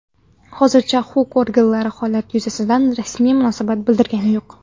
Hozircha huquq organlari holat yuzasidan rasmiy munosabat bildirgani yo‘q.